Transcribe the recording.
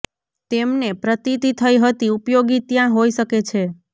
તેમને પ્રતીતી થઇ હતી ઉપયોગી ત્યાં હોઈ શકે છે